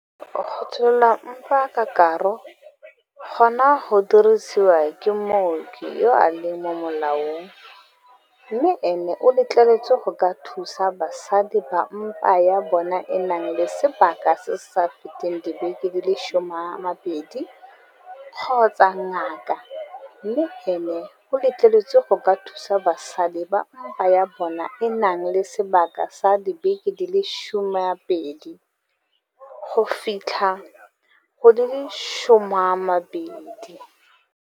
Go tsholla mpa ka karo gona go diriwa ke mooki yo a leng mo molaong mme ene o letleletswe go ka thusa basadi ba mpa ya bona e nang le sebaka se se sa feteng dibeke di le 12 kgotsa ngaka mme ene o letleletswe go ka thusa basadi ba mpa ya bona e nang le sebaka sa dibeke di le 12 go fitlha go di le 20.